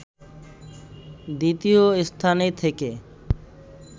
দ্বিতীয় স্থানে থেকে